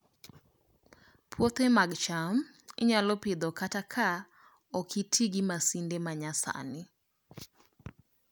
Puothe mag cham inyalo Pidho kata ka ok oti gi masinde ma nyasani